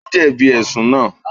Ó jẹ̀bi Ẹ̀sùn náà